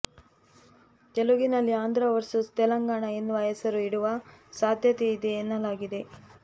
ತೆಲುಗಿನಲ್ಲಿ ಆಂಧ್ರ ವರ್ಸಸ್ ತೆಲಂಗಾಣ ಎನ್ನುವ ಹೆಸರು ಇಡುವ ಸಾಧ್ಯತೆ ಇದೆ ಎನ್ನಲಾಗಿದೆ